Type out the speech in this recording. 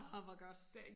Orh hvor godt